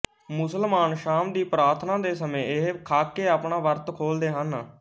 ਮੁਸਲਮਾਨ ਸ਼ਾਮ ਦੀ ਪ੍ਰਾਰਥਨਾ ਦੇ ਸਮੇਂ ਇਹ ਖਾਕੇ ਆਪਣਾ ਵਰਤ ਖੋਲਦੇ ਹਨ